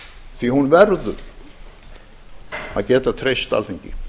því að hún verður að geta treyst alþingi